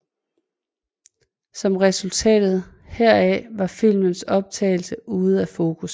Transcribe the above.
Som resultat heraf var filmens optagelse ude af fokus